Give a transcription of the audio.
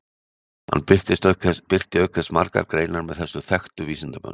Hann birti auk þess margar greinar með þessum þekktu vísindamönnum.